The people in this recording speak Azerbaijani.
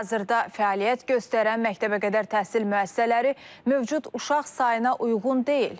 Hazırda fəaliyyət göstərən məktəbəqədər təhsil müəssisələri mövcud uşaq sayına uyğun deyil.